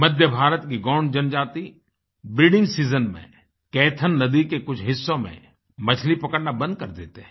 मध्य भारत की गोंड जनजाति breeding season में केथन नदी के कुछ हिस्सों में मछली पकड़ना बंद कर देते हैं